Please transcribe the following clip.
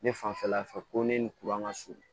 Ne fanfɛla fɛ ko ne ni ka surun